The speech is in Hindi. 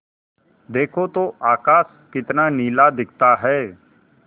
देखो तो आकाश कितना नीला दिखता है